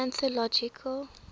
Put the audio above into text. anthological